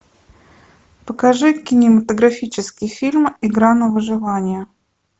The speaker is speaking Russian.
покажи кинематографический фильм игра на выживание